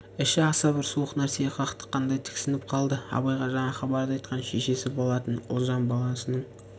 іші аса бір суық нәрсеге қақтыққандай тіксініп қалды абайға жаңа хабарды айтқан шешесі болатын ұлжан баласының